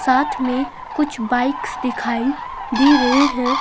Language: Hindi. साथ में कुछ बाइक्स दिखाई दे रहे हैं।